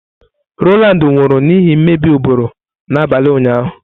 Rowland nwụrụ n'ihi mmebi ụbụrụ n'abalị ụnyaahụ.